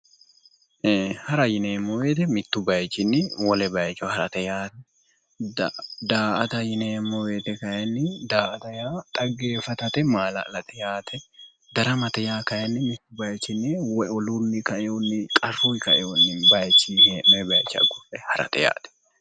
Hara yineemmo woyite mittu bayichinni wole bayicho harate. Daa"ata yineemmo woyite xaggeeffatate maala'late yaate. Daramate yaa kayinni mittu bayichinni woy olunni kaeyohunni qarrunni kaeyohunni he'noyi bayichii ugurre harate yaate.